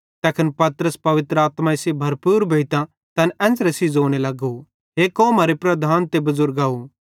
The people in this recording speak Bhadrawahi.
तैखन पतरस पवित्र आत्माई सेइं भरपूर भोइतां तैन एन्च़रे सेइं ज़ोने लगो हे कौमरे लीडराव ते बुज़ुर्गव